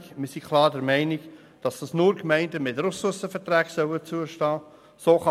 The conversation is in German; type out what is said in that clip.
Wir sind klar der Meinung, dass diese nur Gemeinden mit Ressourcenverträgen zustehen soll.